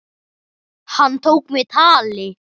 Hann tók mig tali.